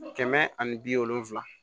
Kɛmɛ ani bi wolonfila